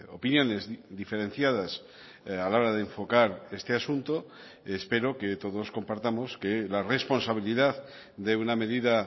opiniones diferenciadas a la hora de enfocar este asunto espero que todos compartamos que la responsabilidad de una medida